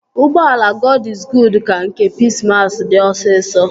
Ụgbọala Gọd iz Guud ka nke Pis mas dị osisọ